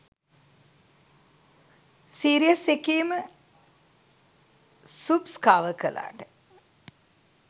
Series එකේම subs cover කලාට.